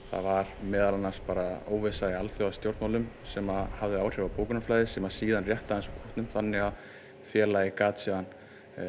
það var meðal annars óvissa í alþjóðastjórnmálum sem hafði áhrif á bókunarflæðið sem síðan rétti aðeins úr kútnum þannig að félagið gat síðan